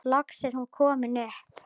Loks er hún komin upp.